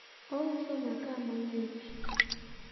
ouso maka mang'ich